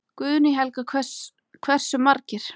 Guðný Helga: Hversu margir?